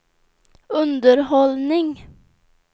underhållning